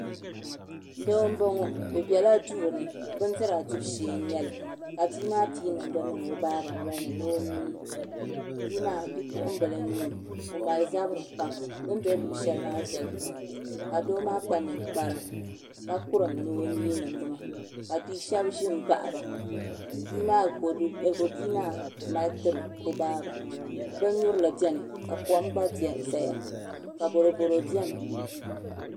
Doo n boŋo bi biɛla duu ni bindira dibu shee n nyɛli ka bia maa pii nimdi niŋ o baaba nolini ni o nyii bia maa bipuɣunbili n nyɛ o o mali zabiri pam bi ni bɛ luɣu shɛli maa viɛli pam ka doo maa kpa ninkpara ka kurim ni o nyii nimdi maa ka bia shab ʒi n baɣaba bia maa mali tiri o baaba bin nyurili biɛni ka kom gba ʒɛya ka boroboro biɛni